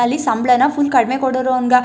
ಅಲ್ಲಿ ಸಂಬಳನ ಫುಲ್ ಕಡಿಮೆ ಕೊಡೋರು ಅವನಾಗ --